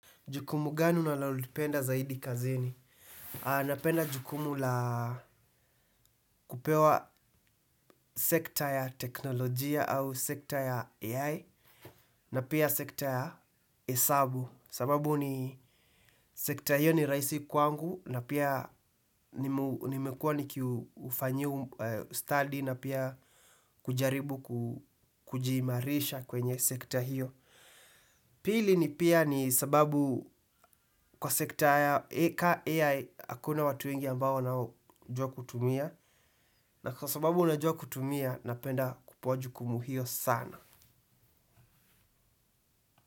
Jukumu gani unalolipenda zaidi kazini? Napenda jukumu la kupewa sekta ya teknolojia au sekta ya AI na pia sekta ya hesabu. Sababu ni sekta hiyo ni rahisi kwangu na pia nimekuwa nikiufanyia ustadi na pia kujaribu kujiimarisha kwenye sekta hiyo. Pili ni pia ni sababu kwa sekta ya AI. Hakuna watu wengi ambao wanaojua kutumia. Na kwa sababu najua kutumia napenda kupewa jukumu hio sana.